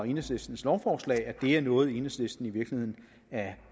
enhedslistens lovforslag at det er noget enhedslisten i virkeligheden er